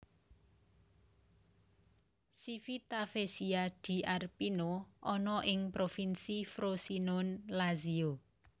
Civitavecchia di Arpino ana ing Provinsi Frosinone Lazio